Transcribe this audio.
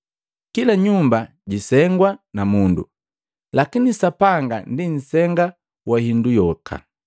Kila nyumba jisengwa na mundu, lakini Sapanga ndi nsenga wa hindu yoka.